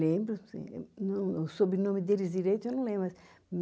Lembro sim, não, o sobrenome deles direito eu não lembro, mas